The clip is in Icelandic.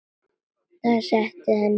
Það setti að henni ónot.